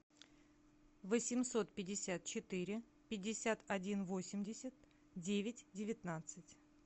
восемьсот пятьдесят четыре пятьдесят один восемьдесят девять девятнадцать